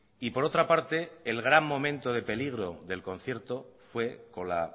y por otra parte el gran momento de peligro del concierto fue con la